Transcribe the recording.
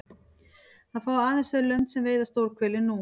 Það fá aðeins þau lönd sem veiða stórhveli nú.